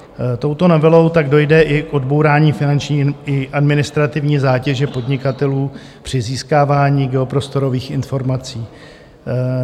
Touto novelou tak dojde i k odbourání finanční i administrativní zátěže podnikatelů při získávání geoprostorových informací.